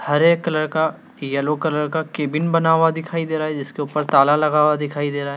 हरे colour का yellow colour का cabin बना हुआ दिखाई दे रहा है जिसके ऊपर ताला लगा हुआ दिखाई दे रहा है।